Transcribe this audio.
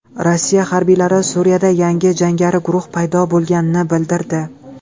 Rossiya harbiylari Suriyada yangi jangari guruh paydo bo‘lganini bildirdi.